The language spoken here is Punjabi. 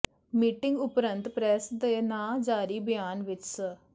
ਮੀਟਿੰਗ ਉਪਰੰਤ ਪ੍ਰੈਸ ਦੇ ਨਾਂ ਜਾਰੀ ਬਿਆਨ ਵਿੱਚ ਸ